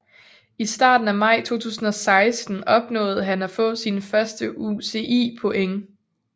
I starten af maj 2016 opnåede han at få sine første UCI point